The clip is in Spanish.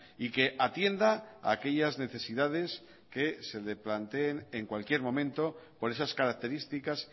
y que atienda aquellas necesidades que se le planteen en cualquier momento por esas características